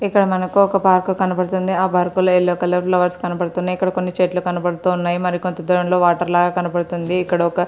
ఇక్కడ మనకు ఒక పాక కనబడుతుంది ఆ బర్కు లో యెల్లో కలర్ లో బర్డ్స్ కనబడుతున్నాయి ఇక్కడ కొన్ని చెట్లు కనబడుతున్నాయి మరి కొంత దూరం లో వాటర్ లాగ కనపడుతుంది ఇక్కడ ఒక --